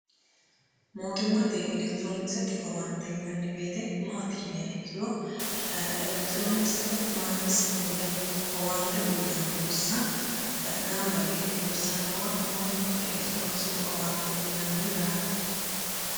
Mootimate electronikesete owannitte yinnani woyite maati yinanni ikkiro electronicsete manigisite woyi owannitte uyittano bissa gamibba yite loosanowa mootimate electronikesete owannitte yinnani yaate